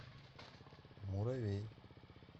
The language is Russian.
муравей